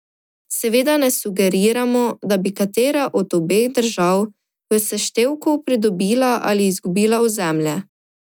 Seveda ne sugeriramo, da bi katera od obeh držav v seštevku pridobila ali izgubila ozemlje.